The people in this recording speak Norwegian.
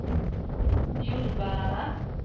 jordbærene